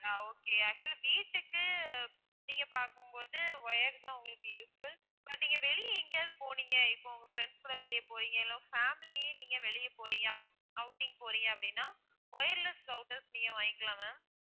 ஆஹ் okay actual ஆ வீட்டுக்கு நீங்க பாக்கும் போது wired தான் உங்களுக்கு useful but நீங்க வெளிய எங்கையாவது போனீங்க இப்போ உங்க friends கூட வெளிய போறீங்க இல்ல உங்க family ஏ நீங்க வெளிய போறீங்க outing போறீங்க அப்படின்னா wireless routers நீங்க வாங்கிக்கலாம் ma'am